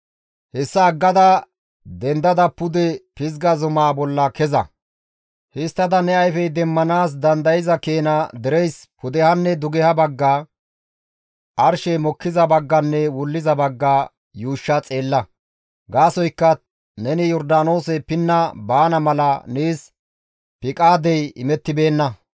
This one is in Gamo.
Hessa aggada dendada pude Pizga zumaa bolla keza; histtada ne ayfey demmanaas dandayza keena dereyssi pudehanne dugeha bagga, arshe mokkiza bagganne wulliza bagga yuushsha xeella; gaasoykka neni Yordaanoose pinna baana mala nees piqaadey imettibeenna.